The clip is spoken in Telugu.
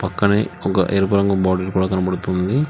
పక్కనే ఒక ఎరువు రంగు బాటిల్ కనపడుతున్నది.